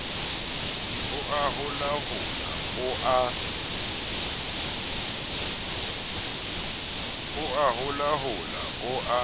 o a holahola o a